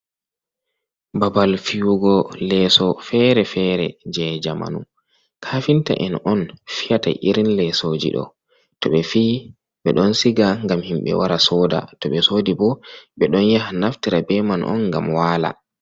Babal fiyugo leeso feere-feere jey jamanu, kaafinta'en on fiyata irin leesooji ɗo, to ɓe fi, ɓe ɗon siga ngam himɓe wara sooda, to ɓe soodi bo ɓe ɗon yaha naftira bee man on ngam waala.